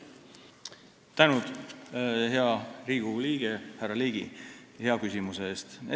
Tänan, hea Riigikogu liige härra Ligi, hea küsimuse eest!